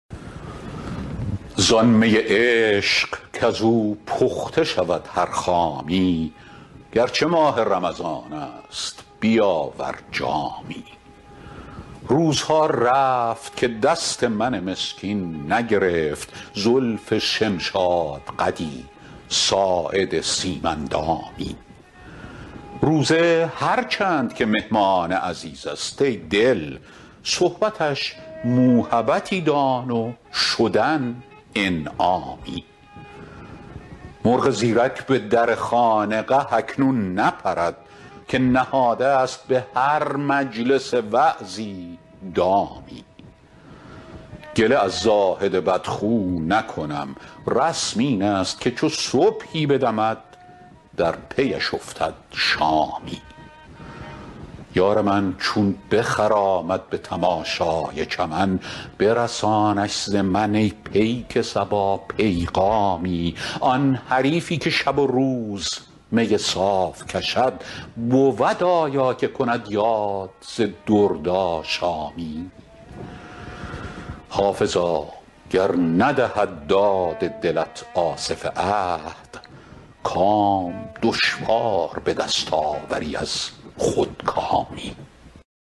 زان می عشق کز او پخته شود هر خامی گر چه ماه رمضان است بیاور جامی روزها رفت که دست من مسکین نگرفت زلف شمشادقدی ساعد سیم اندامی روزه هر چند که مهمان عزیز است ای دل صحبتش موهبتی دان و شدن انعامی مرغ زیرک به در خانقه اکنون نپرد که نهاده ست به هر مجلس وعظی دامی گله از زاهد بدخو نکنم رسم این است که چو صبحی بدمد در پی اش افتد شامی یار من چون بخرامد به تماشای چمن برسانش ز من ای پیک صبا پیغامی آن حریفی که شب و روز می صاف کشد بود آیا که کند یاد ز دردآشامی حافظا گر ندهد داد دلت آصف عهد کام دشوار به دست آوری از خودکامی